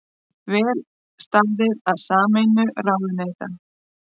Vel staðið að sameiningu ráðuneyta